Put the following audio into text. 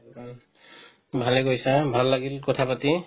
উম ভাল লাগিলে sir ভাল লাগিল কথা পাতি